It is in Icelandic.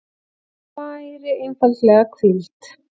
Hann væri einfaldlega hvíld.